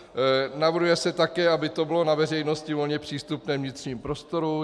Navrhuje se také, aby to bylo na veřejnosti volně přístupné vnitřním prostorům.